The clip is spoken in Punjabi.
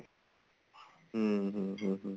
ਹਮ ਹਮ ਹਮ ਹਮ